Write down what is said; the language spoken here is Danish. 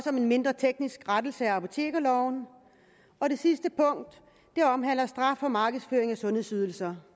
om en mindre teknisk rettelse af apotekerloven og det sidste punkt omhandler straf for markedsføring af sundhedsydelser